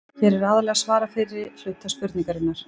Hér var aðallega svarað fyrri hluta spurningarinnar.